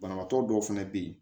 Banabaatɔ dɔw fɛnɛ be yen